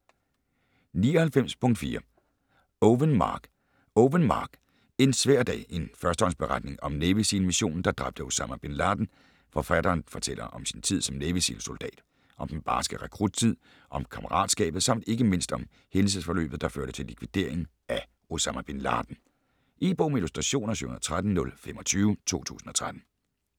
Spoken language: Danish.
99.4 Owen, Mark Owen, Mark: En svær dag: en førstehåndsberetning om Navy SEAL missionen der dræbte Osama Bin Laden Forfatteren fortæller om sin tid som Navy Seal soldat. Om den barske rekruttid, om kammeratskabet samt ikke mindst om hændelsesforløbet der førte til likvideringen af Osama bin Laden. E-bog med illustrationer 713025 2013.